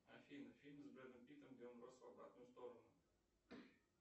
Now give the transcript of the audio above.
афина фильм с бредом питом где он рос в обратную сторону